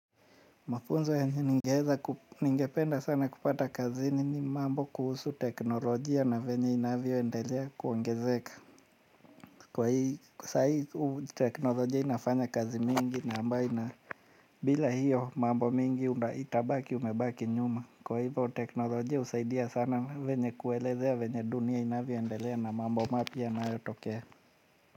Mafunzo yenye, ningependa sana kupata kazini mambo kuhusu teknolojia na venye inavyoendelea kuongezeka. Kwa hii, saa hii teknolojia inafanya kazi mingi na ambayo ina bila hiyo mambo mingi itabaki umebaki nyuma. Kwa hivo teknolojia husaidia sana venye kuelezea venye dunia inavyoendelea na mambo mapya yanayotokea.